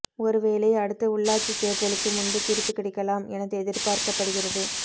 ஒரு வேலை அடுத்த உள்ளாட்சி தேர்தலுக்கு முன்பு தீர்ப்பு கிடைக்கலாம் என எதிர்பார்க்கப்படுகிறது